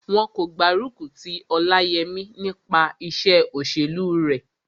Wọn kò gbárùkù ti Ọláyẹmí nípa iṣẹ́ òṣèlú rẹ̀